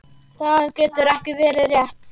Það getur ekki verið rétt.